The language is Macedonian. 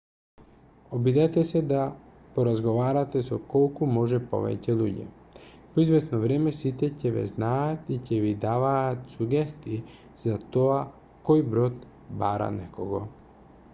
обидете се да поразговарате со колку може повеќе луѓе по извесно време сите ќе ве знаат и ќе ви даваат сугестии за тоа кој брод бара некого